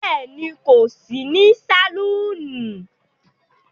Béèni,n̄ kò sí ní sàlúúnù